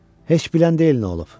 Heç bilən deyil nə olub.